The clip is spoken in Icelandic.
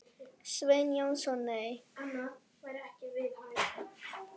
Sveinn Jónsson Nei.